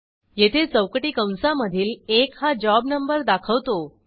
येथे चौकटी कंसामधील एक हा जॉब numberदाखवतो